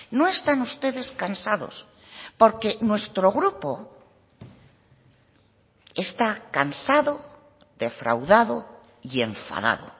no están ustedes cansados porque nuestro grupo está cansado defraudado y enfadado